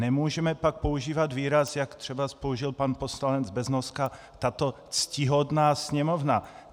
Nemůžeme pak používat výraz, jak třeba použil pan poslanec Beznoska, tato ctihodná Sněmovna.